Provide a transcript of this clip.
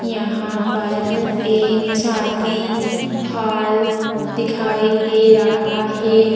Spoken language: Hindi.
यहां पर एक शादी हाल दिखाई दे रहा है।